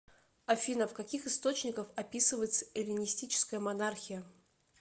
афина в каких источниках описывается эллинистическая монархия